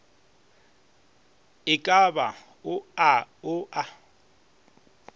e ka ba ao a